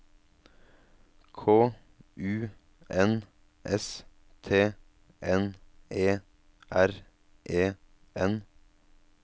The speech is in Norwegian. K U N S T N E R E N